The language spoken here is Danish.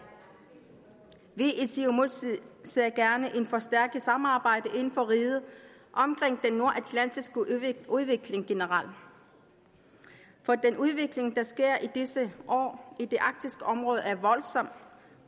vi i siumut ser gerne et forstærket samarbejde inden for riget omkring den nordatlantiske udvikling generelt for den udvikling der sker i disse år i det arktiske område er voldsom